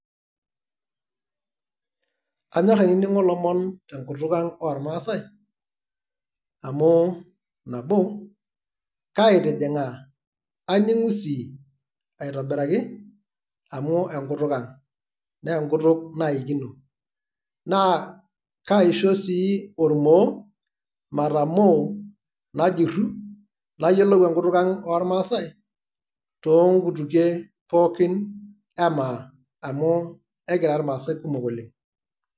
Anyor ainining'o ilomon tenkutuk ang' ormaasai, amu nabo; kaitijing'aa, kaning'u si aitobiraki, amu enkutuk ang'. Naa enkutuk naikino. Naa kaisho si ormoo, matamoo najurru, nayiolou enkutuk ang' ormaasai, toonkutukie pookin emaa, amu ekira irmaasai kumok oleng'.